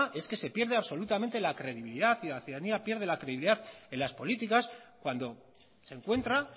es que se pierde absolutamente la credibilidad y la ciudadanía pierde la credibilidad en las políticas cuando se encuentra